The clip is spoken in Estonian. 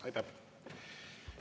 Aitäh!